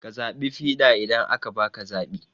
Ka zaɓi fiɗa idan aka baka zaɓi